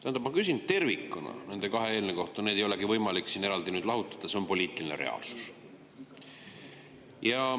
Tähendab, ma küsin tervikuna nende kahe eelnõu kohta, neid ei olegi võimalik siin nüüd lahutada, see on poliitiline reaalsus.